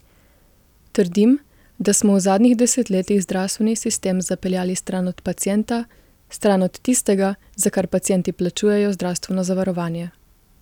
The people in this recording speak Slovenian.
Trdim, da smo v zadnjih desetletjih zdravstveni sistem zapeljali stran od pacienta, stran od tistega, za kar pacienti plačujejo zdravstveno zavarovanje.